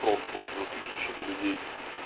просто уже тысячами людей